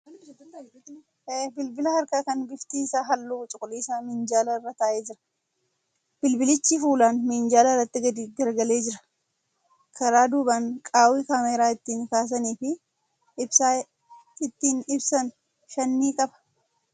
Bilbila harkaa kan bifti isaa halluu cuquliisa minjaala irra taa'ee jira. Bilbilichi fuulaan minjaala irratti gadi garagalee jira. Karaa duubaan qaawwi kaameeraa ittiin kaasanii fi ibsaa ittiin ibsan shan ni qaba.